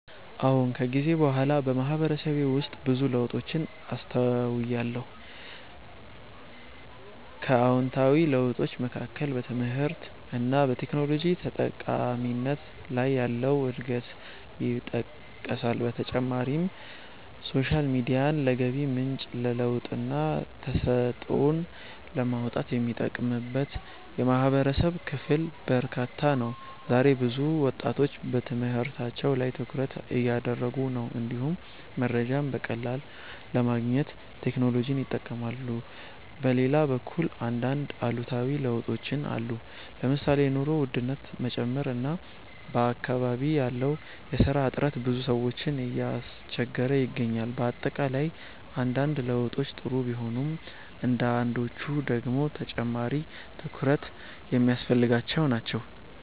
አዎን። ከጊዜ በኋላ በማህበረሰቤ ውስጥ ብዙ ለውጦችን አስተውያለሁ። ከአዎንታዊ ለውጦች መካከል በትምህርት እና በቴክኖሎጂ ተጠቃሚነት ላይ ያለው እድገት ይጠቀሳል። በተጨማሪም ሶሻል ሚዲያን ለገቢ ምንጭ፣ ለለውጥና ተሰጥኦን ለማውጣት የሚጠቀምበት የማህበረሰብ ክፍል በርካታ ነው። ዛሬ ብዙ ወጣቶች በትምህርታቸው ላይ ትኩረት እያደረጉ ነው፣ እንዲሁም መረጃን በቀላሉ ለማግኘት ቴክኖሎጂን ይጠቀማሉ። በሌላ በኩል አንዳንድ አሉታዊ ለውጦችም አሉ። ለምሳሌ የኑሮ ውድነት መጨመር እና በአካባቢ ያለው የስራ እጥረት ብዙ ሰዎችን እያስቸገረ ይገኛል። በአጠቃላይ አንዳንድ ለውጦች ጥሩ ቢሆኑም አንዳንዶቹ ደግሞ ተጨማሪ ትኩረት የሚያስፈልጋቸው ናቸው።